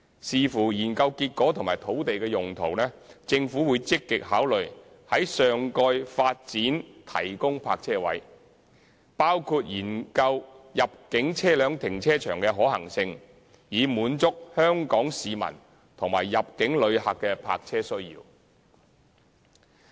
視乎研究結果及土地的用途，政府會積極考慮在上蓋發展提供泊車位，包括研究入境車輛停車場的可行性，以滿足香港市民及入境旅客的泊車需求。